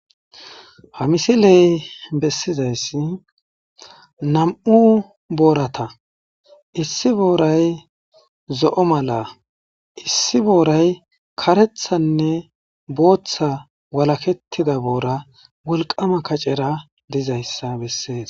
Ha missiley besizayssi nam'u boorata issi booray zo'o mala issi booray kareththaynne boothay waalaketida booray wolkamma kacera dizayssa besess.